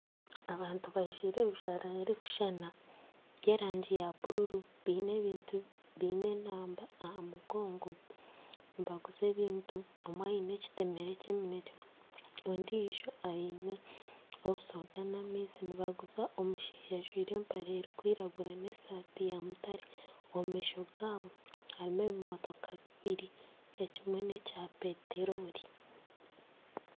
Abantu bajwaire ebijwaro birikushuushana by'erangi ya buruuru biine enamba aha mugongo nibaguza ebintu, omwe aine ekitemere ky'eminekye ondijo aine obusoda n'amaizi nibaguza omushaija ajwaire empare erikwiragura n'esaati ya mutaare omu maisho gaabo harimu ebimotooka bibiri ekimwe nekya peteroli.